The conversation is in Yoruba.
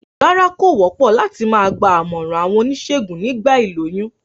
Rárá, kò wópò láti ma gba àmòràn àwon onísègùn nígba ìlóyún